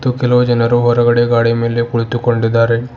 ಮತ್ತು ಕೆಲವು ಜನರು ಹೊರಗಡೆ ಗಾಡಿ ಮೇಲೆ ಕುಳಿತುಕೊಂಡಿದ್ದಾರೆ.